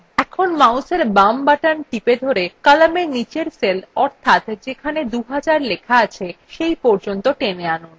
এখন mouseএর বাম button ধরে কলামের নীচের cell অর্থাৎ যেখানে 2000 লেখা আছে cell পর্যন্ত টেনে আনুন